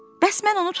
Bəs mən onu tutdum?